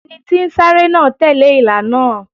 Ẹni tí ń sáré náà tẹ̀lé ìlà náà.